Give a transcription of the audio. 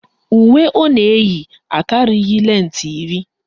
Uwe ọ na-eyi akarịghị lentị iri